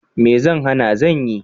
Me zai hana! zan yi.